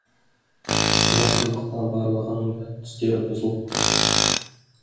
мына сұмдықтан барлығының да түстері бұзылып кетті